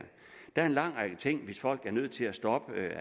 er en lang række ting hvis folk er nødt til at stoppe